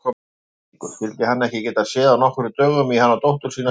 Þvættingur, skyldi hann ekki geta séð af nokkrum dögum í hana dóttur sína í haust.